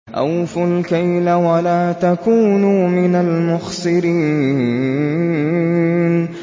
۞ أَوْفُوا الْكَيْلَ وَلَا تَكُونُوا مِنَ الْمُخْسِرِينَ